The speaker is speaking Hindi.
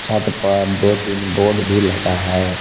छत पर दो तीन बोर्ड भी लगा है।